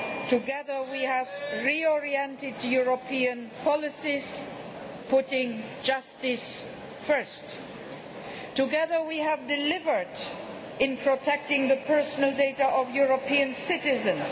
Together we have re oriented European policies, putting justice first. Together we have delivered in protecting the personal data of EU citizens